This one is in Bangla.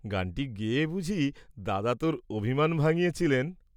গানটি গেয়ে বুঝি দাদা তোর অভিমান ভাঙ্গিয়েছিলেন?